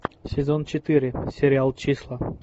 сезон четыре сериал числа